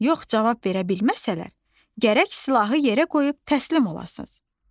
Yox cavab verə bilməsələr, gərək silahı yerə qoyub təslim olasınız.